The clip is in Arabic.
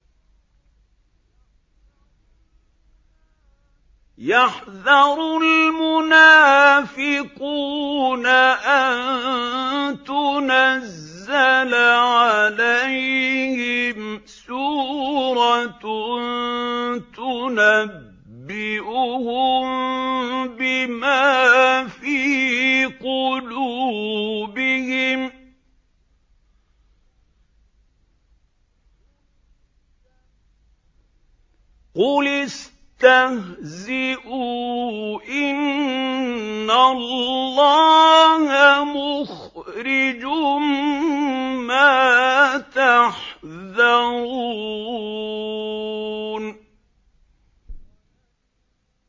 يَحْذَرُ الْمُنَافِقُونَ أَن تُنَزَّلَ عَلَيْهِمْ سُورَةٌ تُنَبِّئُهُم بِمَا فِي قُلُوبِهِمْ ۚ قُلِ اسْتَهْزِئُوا إِنَّ اللَّهَ مُخْرِجٌ مَّا تَحْذَرُونَ